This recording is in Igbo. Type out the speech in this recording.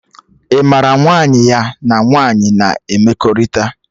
Ị mara nwaanyị ya na nwaanyị na emekọrịta?